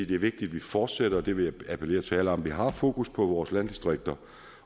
det er vigtigt at vi fortsætter jeg vil appellere til alle om det vi har fokus på vores landdistrikter